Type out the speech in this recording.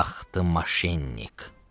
Ax, da maşennik!